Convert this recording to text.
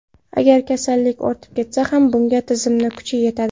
Agar kasallik ortib ketsa ham, bunga tizimni kuchi yetadi.